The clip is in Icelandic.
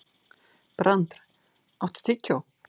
Brandr, áttu tyggjó?